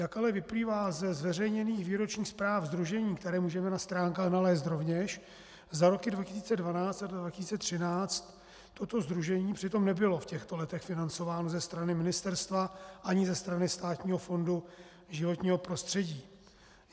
Jak ale vyplývá ze zveřejněných výročních zpráv sdružení, které můžeme na stránkách nalézt rovněž za roky 2012 a 2013, toto sdružení přitom nebylo v těchto letech financováno ze strany ministerstva ani ze strany Státního fondu životního prostředí.